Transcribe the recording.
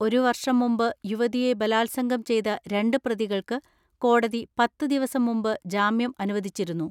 ഒരു വർഷം മുമ്പ് യുവതിയെ ബലാത്സംഗം ചെയ്ത രണ്ട് പ്രതികൾക്ക് കോടതി പത്ത് ദിവസം മുമ്പ് ജാമ്യം അനുവദിച്ചിരുന്നു.